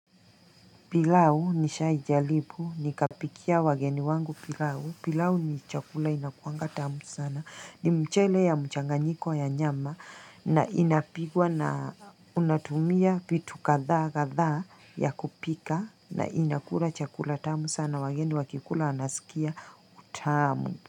Pilau nilisha ijaribu, nikapikia wageni wangu pilau, pilau ni chakula inakuaga tamu sana, ni mchele ya mchanganyiko ya nyama na inapigwa na unatumia vitu kadha kadha ya kupika na inakula chakula tamu sana wageni wakikula wanasikia utamu.